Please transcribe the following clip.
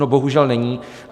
No bohužel není.